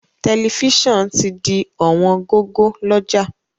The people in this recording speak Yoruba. Tẹ̀lifísàn ti di ọ̀wọ́n gógó lọ́jà